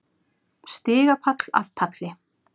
Stigapall af palli.